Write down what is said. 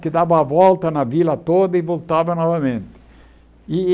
que dava a volta na vila toda e voltava novamente e.